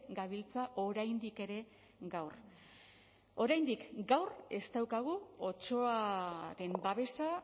gabiltza oraindik ere gaur oraindik gaur ez daukagu otsoaren babesa